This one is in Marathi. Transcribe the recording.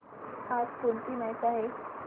आज कोणाची मॅच आहे